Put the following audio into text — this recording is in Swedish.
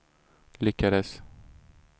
lyckades